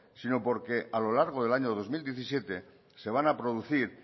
sino porque a lo largo del año dos mil diecisiete se van a producir